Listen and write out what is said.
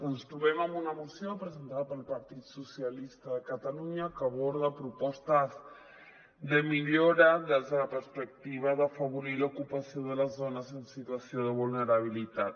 ens trobem amb una moció presentada pel partit dels socia·listes de catalunya que aborda propostes de millora des de la perspectiva d’afavorir l’ocupació de les dones en situació de vulnerabilitat